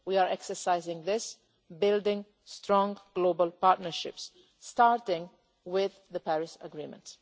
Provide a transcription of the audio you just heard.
We are exercising this, building strong global partnerships, starting with the Paris Agreement.